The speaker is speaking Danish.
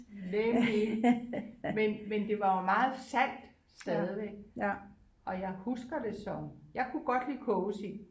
Nemlig men men det var jo meget salt stadigvæk og jeg husker det som jeg kunne godt lide kogesild